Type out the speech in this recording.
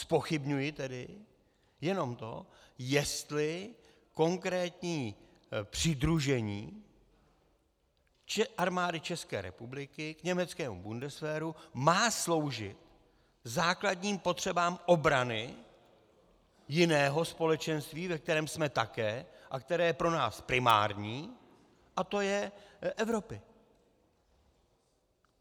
Zpochybňuji tedy jenom to, jestli konkrétní přidružení Armády České republiky k německému Bundeswehru má sloužit základním potřebám obrany jiného společenství, ve kterém jsme také a které je pro nás primární, a to je Evropy.